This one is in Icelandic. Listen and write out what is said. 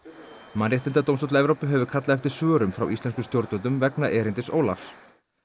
mannréttindadómstóll Evrópu hefur kallað eftir svörum frá íslenskum stjórnvöldum vegna erindis Ólafs